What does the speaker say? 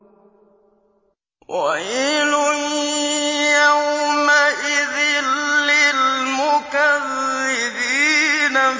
وَيْلٌ يَوْمَئِذٍ لِّلْمُكَذِّبِينَ